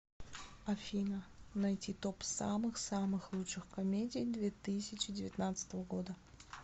афина найти топ самых самых лучших комедий две тысячи девятнадцатого года